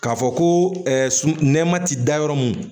K'a fɔ ko sununma ti da yɔrɔ mun